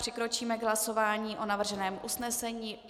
Přikročíme k hlasování o navrženém usnesení.